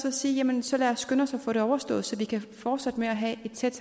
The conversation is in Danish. at sige jamen så lad os skynde os at få det overstået så vi kan fortsætte med at have et tæt